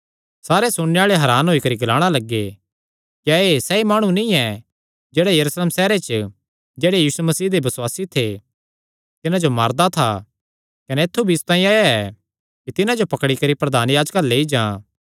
सारे सुणने आल़े हरान होई करी ग्लाणा लग्गे क्या एह़ सैई माणु नीं ऐ जेह्ड़ा यरूशलेम सैहरे च जेह्ड़े यीशु मसीह दे बसुआसी थे तिन्हां जो मारदा था कने ऐत्थु भी इसतांई आया ऐ कि तिन्हां जो पकड़ी करी प्रधान याजकां अल्ल लेई जां